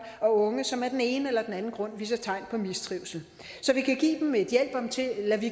og unge som af den ene eller den anden grund viser tegn på mistrivsel så vi kan give dem et hjælp